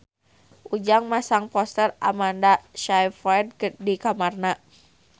Ujang masang poster Amanda Sayfried di kamarna